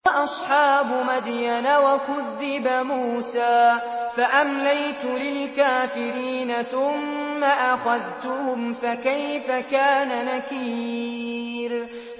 وَأَصْحَابُ مَدْيَنَ ۖ وَكُذِّبَ مُوسَىٰ فَأَمْلَيْتُ لِلْكَافِرِينَ ثُمَّ أَخَذْتُهُمْ ۖ فَكَيْفَ كَانَ نَكِيرِ